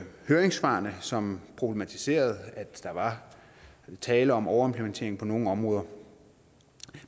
høringssvarene som problematiserede at der er tale om overimplementering på nogle områder